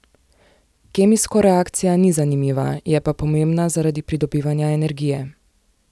Kemijsko reakcija ni zanimiva, je pa pomembna zaradi pridobivanja energije.